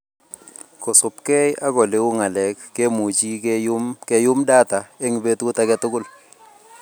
Kosubkei ak oleu ng'alek, kemuchi keyuum data eng betut age tugul